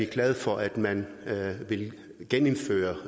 glade for at man vil genindføre